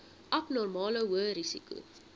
abnormale hoë risiko